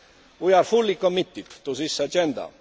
We are fully committed to this agenda.